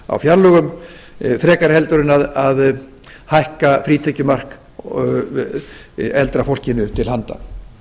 á fjárlögum frekar en að hækka frítekjumark eldra fólkinu til handa